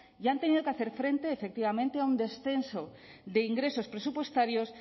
y han tenido que hacer frente efectivamente a un descenso de ingresos presupuestarios